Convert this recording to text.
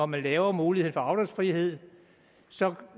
man lavede muligheden for afdragsfrihed så